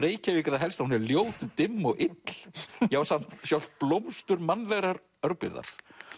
Reykjavík er það helst að hún er ljót dimm og ill já sjálft blómstur mannlegrar örbirgðar